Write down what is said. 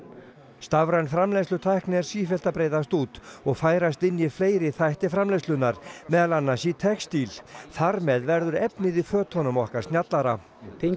stafræn framleiðslutækni er sífellt að breiðast út og færast inn í fleiri þætti framleiðslunnar meðal annars í textíl þar með verður efnið í fötunum okkar snjallara tengja